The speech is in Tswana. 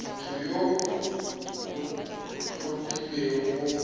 motho yo o tlhophilweng go